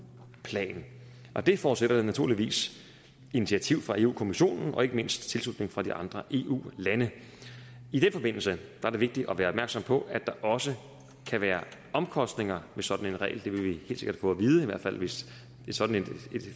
plan og det forudsætter naturligvis initiativ fra europa kommissionen og ikke mindst tilslutning fra de andre eu lande i den forbindelse er det vigtigt at være opmærksom på at der også kan være omkostninger ved sådan en regel det vil vi helt sikkert få at vide i hvert fald hvis sådan et